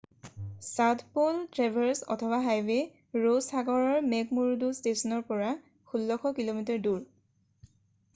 South Pole Traverse অথবা highway Ross সাগৰৰ McMurdo ষ্টেচনৰ পৰা 1600 কিঃ মিঃ দূৰ।